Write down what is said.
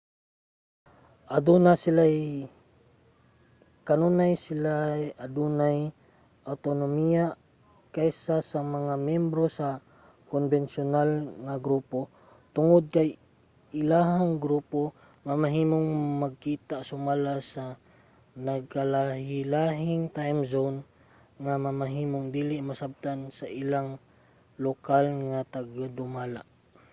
kanunay sila adunay awtonomiya kaysa sa mga miyembro sa konbensyonal nga grupo tungod kay ang ilahang grupo mamahimong magkita sumala sa nagkalahilahing time zone nga mamahimong dili masabtan sa ilahang lokal nga tagdumala